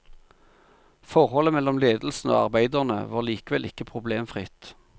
Forholdet mellom ledelsen og arbeiderne var likevel ikke problemfritt.